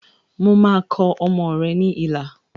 Mo máa kọ ọmọ rẹ̀ ní ilà